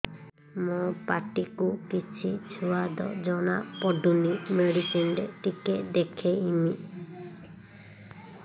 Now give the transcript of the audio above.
ମୋ ପାଟି କୁ କିଛି ସୁଆଦ ଜଣାପଡ଼ୁନି ମେଡିସିନ ରେ ଟିକେ ଦେଖେଇମି